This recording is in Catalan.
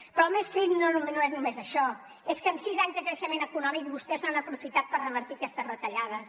però el més trist no és només això és que en sis anys de creixement econòmic vostès no han aprofitat per revertir aquestes retallades